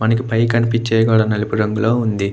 మనకి పైకనిపించే నలుపు రంగులో వుంది.